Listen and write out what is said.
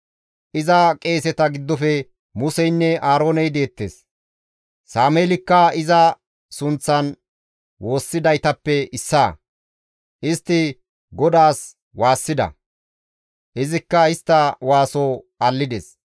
Iza qeeseta giddofe Museynne Aarooney deettes; Sameelikka iza sunththan woossidaytappe issaa; istti GODAAS waassida; izikka istta waaso allides.